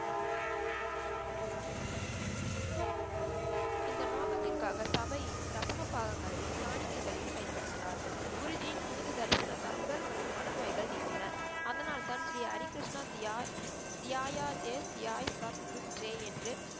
இந்த நோக்கத்திற்காக சபையில் தசம பாகங்களையும், காணிக்கைகளையும் பயன்படுத்தினார். குருஜின் புனித தரிசனத்தால் உடல் மற்றும் மன நோய்கள் நீங்கின. அதனால் தான் ஸ்ரீ ஹரி கிருஷ்ணா தியா தியாய தேஷ் தியாய் சப் குற்கே என்று